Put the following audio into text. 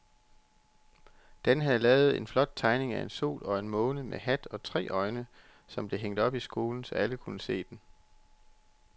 Dan havde lavet en flot tegning af en sol og en måne med hat og tre øjne, som blev hængt op i skolen, så alle kunne se den.